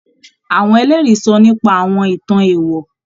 Àwọn Ẹlẹ́rìí sọ nípa àwọn ìtàn èèwọ̀